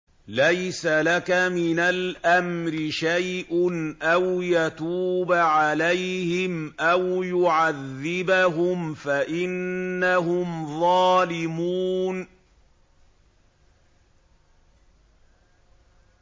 لَيْسَ لَكَ مِنَ الْأَمْرِ شَيْءٌ أَوْ يَتُوبَ عَلَيْهِمْ أَوْ يُعَذِّبَهُمْ فَإِنَّهُمْ ظَالِمُونَ